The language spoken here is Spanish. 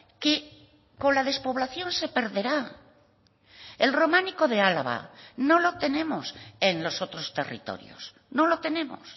que con la despoblación se perderá el románico de álava no lo tenemos en los otros territorios no lo tenemos